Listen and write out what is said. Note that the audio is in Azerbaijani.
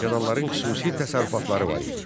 Feodalların xüsusi təsərrüfatları var idi.